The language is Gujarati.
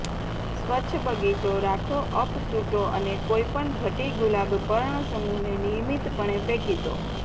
સ્વચ્છ બગીચો રાખો અપ ચૂંટો અને કોઇ પણ ઘટી ગુલાબ પર્ણસમૂહને નિયમિતપણે ફેંકી દો